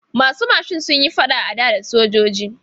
Masu mashin sun yi faɗa a da sojoji.